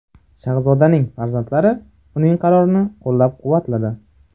Shahzodaning farzandlari uning qarorini qo‘llab-quvvatladi.